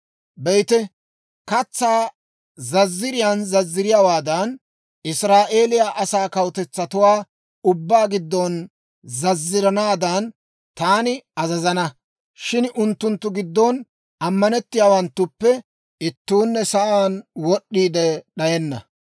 «Be'ite, katsaa zazziriyaan zazziriyaawaadan, Israa'eeliyaa asaa kawutetsatuwaa ubbaa giddon zazziranaadan, taani azazana; shin unttunttu giddon ammanettiyaawanttuppe ittuunne sa'aan wod'd'iide d'ayenna.